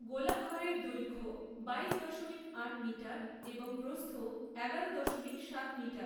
গোলাঘরের দৈর্ঘ্য বাইশ দশমিক আট মিটার এবং প্ৰস্থ এগারো দশমিক সাত মিটার।